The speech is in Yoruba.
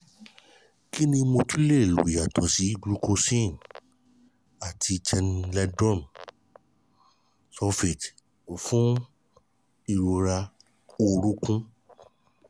kí ni mo tún lè lo yàtọ̀ sí glucosamine àti chandrotrium sulphate fún ìrora orunkun?